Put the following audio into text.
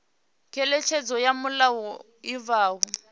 ngeletshedzo ya mulayo i bvaho